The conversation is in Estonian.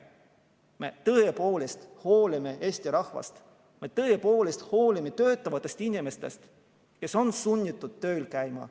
Me tõepoolest hoolime Eesti rahvast, me tõepoolest hoolime töötavatest inimestest, kes on sunnitud tööl käima.